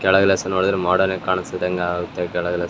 ಕೆಳಗಲ ಸ ನೋಡಿದ್ರೆ ಮೊಡೆರ್ನ್ ಆಗ್ ಕಾಣಸ್ತಿದ್ದಂಗ್ ಆಗುತ್ತೆ ಕೆಳಗಲ.